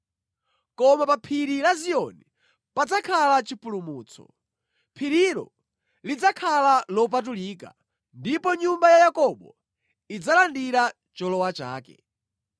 Koma pa Phiri la Ziyoni padzakhala chipulumutso; phirilo lidzakhala lopatulika, ndipo nyumba ya Yakobo idzalandira cholowa chake.